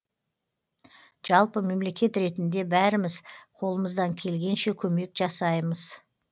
жалпы мемлекет ретінде бәріміз қолымыздан келгенше көмек жасаймыз